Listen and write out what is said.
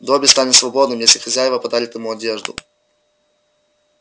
добби станет свободным если хозяева подарят ему одежду